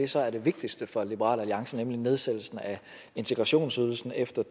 så er det vigtigste for liberal alliance nemlig nedsættelsen af integrationsydelsen efter